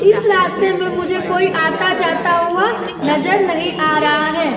इस रास्ते में मुझे कोई आता-जाता हुआ नजर नहीं आ रहा है।